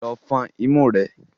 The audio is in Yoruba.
Lọ fọn imú rẹ!